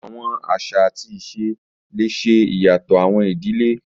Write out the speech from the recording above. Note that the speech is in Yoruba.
Awọn aṣa ati ise le ṣe iyatọ awọn idile